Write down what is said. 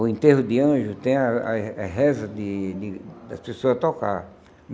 O enterro de anjos tem a a a reza de de da pessoa tocar.